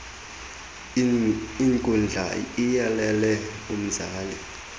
inkundla iyalele umzali